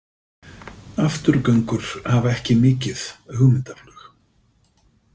Afturgöngur hafa ekki mikið hugmyndaflug.